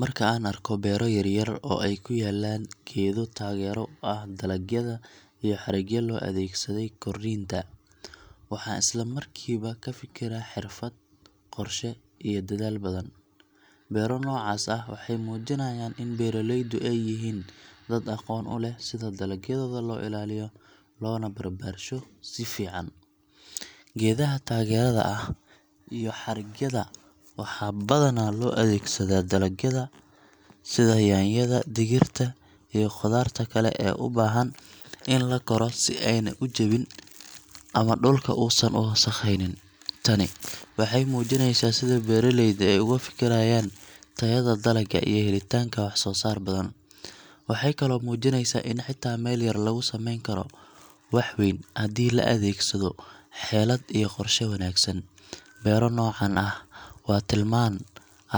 Marka aan arko beero yaryar oo ay ku yaallaan geedo taageero u ah dalagyada iyo xarigyo loo adeegsaday korriinta, waxaan isla markiiba ka fikiraa xirfad, qorshe, iyo dadaal badan. Beero noocaas ah waxay muujinayaan in beeraleydu ay yihiin dad aqoon u leh sida dalagyadooda loo ilaaliyo loona barbaarsho si fiican. Geedaha taageerada ah iyo xarigyada waxaa badanaa loo adeegsadaa dalagyada sida yaanyada, digirta, iyo khudaarta kale ee u baahan in la koro si aanay u jabin ama dhulka uusan u wasakhaynin. Tani waxay muujinaysaa sida beeraleyda ay ugu fikirayaan tayada dalagga iyo helitaanka wax-soo-saar badan. Waxay kaloo muujinaysaa in xitaa meel yar lagu samayn karo wax weyn haddii la adeegsado xeelad iyo qorshe wanaagsan. Beero noocan ah waa tilmaan